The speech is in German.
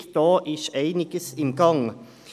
Hier ist einiges im Gange.